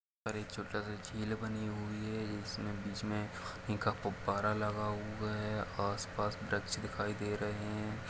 --और एक छोटा सा झील बनी हुई है और इसमे बीच मे गुब्बारा लगा हुआ है और आस पास वृक्ष दिखाई दे रहे है।